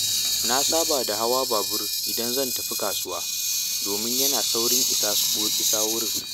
Na saba da hawa babur idan zan tafi kasuwa domin yana saurin isa wurin.